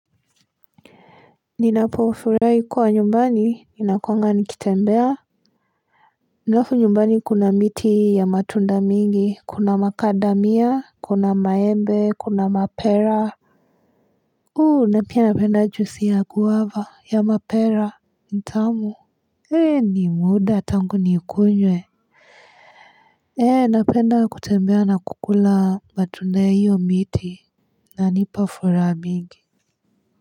Ninapofuraahi kwa nyumbani, ninakuanga nikitembea alafu nyumbani kuna miti ya matunda mingi, kuna makadamia, kuna maembe, kuna mapera Uhu, napia napenda jusi ya guava ya mapera nitamu Hei ni muda tangu nikunywe ee napenda kutembea na kukula matunda ya hiyo miti Nanipa furaha mingi.